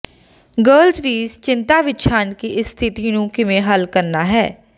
girls ਵੀ ਚਿੰਤਾ ਵਿਚ ਹਨ ਕਿ ਇਸ ਸਥਿਤੀ ਨੂੰ ਕਿਵੇਂ ਹੱਲ ਕਰਨਾ ਹੈ